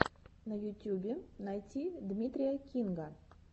на ютюбе найти дмитрия кинга